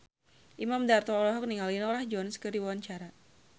Imam Darto olohok ningali Norah Jones keur diwawancara